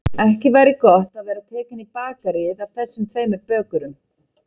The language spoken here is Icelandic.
Ekki væri gott að vera tekinn í bakaríið af þessum tveimur bökurum.